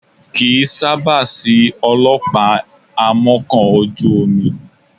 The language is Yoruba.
Kì í sábà sí ọlọ́pàá amọ́kọ̀ ojú omi